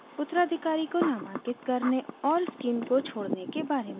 उत्तराधिकारी को नामांकित करने और स्कीम को को छोड़ने के बारे में भी सीखा